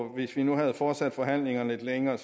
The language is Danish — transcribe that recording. hvis vi nu havde fortsat forhandlingerne lidt længere